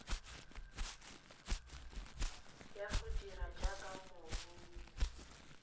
ya go dira jaaka moruni